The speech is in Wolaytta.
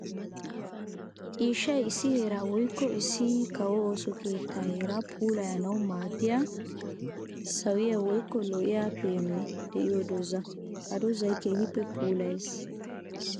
Ciishshay issi heera woykko issi kawo ooso keetta heera puulayannawu maadiya sawiya woykko lo'oy peenoy de'iyo dooza. Ha doozay keehippe puulayees.